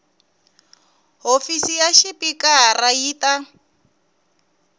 hofisi ya xipikara yi ta